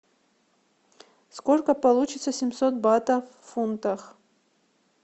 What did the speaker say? сколько получится семьсот батов в фунтах